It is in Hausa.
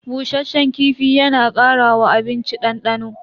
Bushasshen kifi yana kara wa abinci dandano.